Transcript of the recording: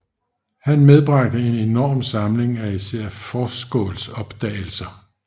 Han medbragte en enorm samling af især Forsskåls opdagelser